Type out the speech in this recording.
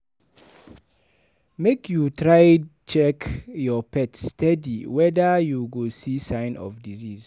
Make you dey try check your pet steady weda you go see sign of disease.